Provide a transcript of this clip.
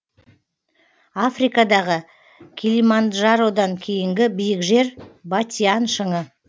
африкадағы килиманджародан кейінгі биік жер батиан шыңы